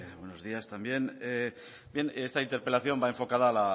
buenos días también esta interpelación va enfocada